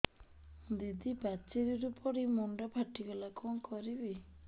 ଦିଦି ପାଚେରୀରୁ ପଡି ମୁଣ୍ଡ ଫାଟିଗଲା କଣ କରିବି